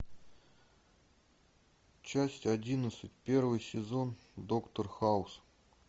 часть одиннадцать первый сезон доктор хаус